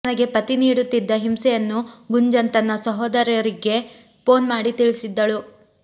ತನಗೆ ಪತಿ ನೀಡುತ್ತಿದ್ದ ಹಿಂಸೆಯನ್ನು ಗುಂಜನ್ ತನ್ನಸಹೋದರಿಗೆ ಫೋನ್ ಮಾಡಿ ತಿಳಿಸಿದ್ದಳು